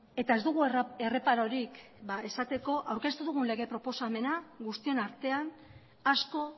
eta ez dugu erreparorik esateko aurkeztu dugun lege proposamena guztion artean asko